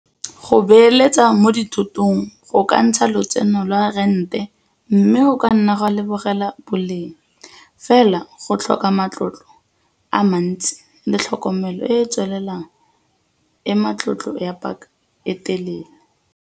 Go beeletsa mo dithotong go ka ntsha lotseno lwa a rente mme go ka nna gwa lebogela boleng fela go tlhoka matlotlo a mantsi le tlhokomelo e e tswelelang e matlotlo ya paka e telele.